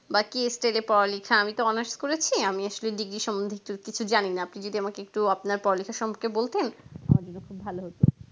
বা কি stage এ পড়ালেখা আমিতো honours করেছি আমি আসলে degree সম্পর্কে কিছু জানিনা আপনি যদি আমাকে একটু আপনার পড়ালেখা সম্পর্কে বলতেন তাহলে আমার জন্য খুব ভালো হতো